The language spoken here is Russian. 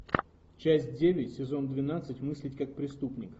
часть девять сезон двенадцать мыслить как преступник